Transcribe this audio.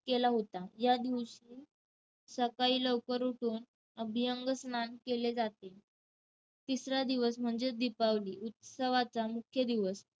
केला होता. यादिवशी सकाळी लवकर उठून अभ्यंगस्नान केले जाते. तिसरा दिवस म्हणजेच दीपावली, उत्सवाचा मुख्य दिवस.